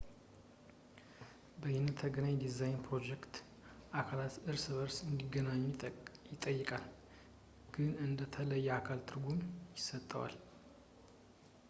በይነተገናኝ ዲዛይን የፕሮጀክት አካላት እርስ በእርስ እንዲገናኙ ይጠይቃል ፣ ግን እንደ የተለየ አካል ትርጉም ይሰጣል